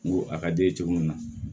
N go a ka d'i ye cogo min na